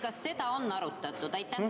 Kas seda on arutatud?